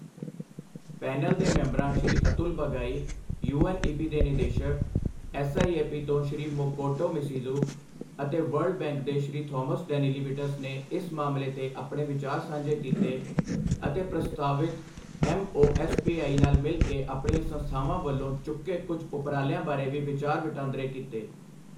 Panel ਦੇ ਮੈਂਬਰਾਂ Shri Atul Bagai, UNEP ਦੇ ਨਿਦੇਸ਼ਕ, ਐਸਆਈਏਪੀ ਤੋਂ ਸ੍ਰੀ ਮਕੋਟੋ ਸ਼ਿਮੀਜ਼ੂ ਅਤੇ ਵਰਲਡ ਬੈਂਕ ਦੇ ਸ੍ਰੀ ਥੌਮਸ ਡੈਨੀਲੀਵਿਟਜ਼ ਨੇ ਇਸ ਮਸਲੇ ਤੇ ਆਪਣੇ ਵਿਚਾਰ ਸਾਂਝੇ ਕੀਤੇ ਅਤੇ ਪ੍ਰਸਤਾਵਿਤ ਐਮਓਐਸਪੀਆਈ ਨਾਲ ਮਿਲ ਕੇ ਆਪਣੀਆਂ ਸੰਸਥਾਵਾਂ ਵੱਲੋਂ ਚੁੱਕੇ ਕੁਝ ਉਪਰਾਲਿਆਂ ਬਾਰੇ ਵੀ ਵਿਚਾਰ ਵਟਾਂਦਰੇ ਕੀਤੇ।